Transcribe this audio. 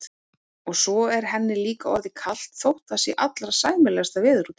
Og svo er henni líka orðið kalt þótt það sé allra sæmilegasta veður úti.